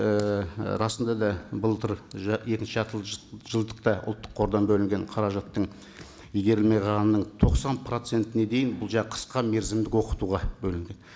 ііі расында да былтыр екінші жылдықта ұлттық қордан бөлінген қаражаттың игерілмей қалғанының тоқсан процентіне дейін бұл жаңағы қысқа мерзімдік оқытуға бөлінді